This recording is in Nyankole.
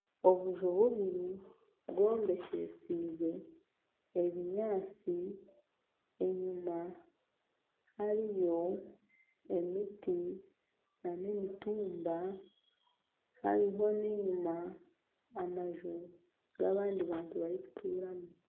Obuju bubiri bwombekyesiibwe ebinyaatsi enyima hariyo emiti nana emitumba hariho n'enyima amaju g'abandi bantu barikuturamu